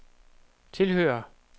tilhører